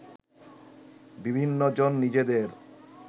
বিভিন্নজন নিজেদের